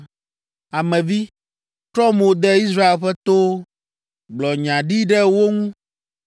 “Ame vi, trɔ mo de Israel ƒe towo; gblɔ nya ɖi ɖe wo ŋu,